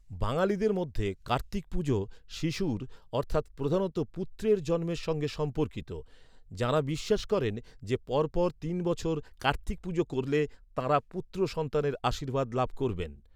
বাঙালিদের মধ্যে কার্তিক পুজো শিশুর প্রধানত পুত্রের জন্মের সঙ্গে সম্পর্কিত। যাঁরা বিশ্বাস করেন যে, পরপর তিন বছর কার্তিক পূজা করলে তাঁরা পুত্র সন্তানের আশীর্বাদ লাভ করবেন।